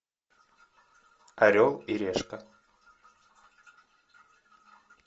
орел и решка